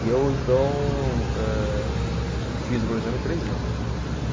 E eu, então, eh, fiz o planejamento três anos.